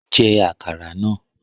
Jẹ́ àkàrà náà!